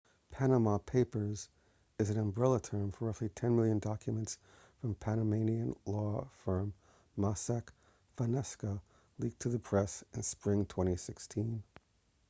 panama papers is an umbrella term for roughly ten million documents from panamanian law firm mossack fonseca leaked to the press in spring 2016